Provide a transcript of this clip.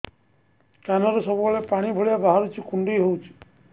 କାନରୁ ସବୁବେଳେ ପାଣି ଭଳିଆ ବାହାରୁଚି କୁଣ୍ଡେଇ ହଉଚି